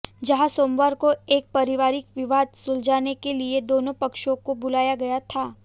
जहां सोमवार को एक पारिवारिक विवाद सुलझाने के लिए दोनों पक्षों को बुलाया गया था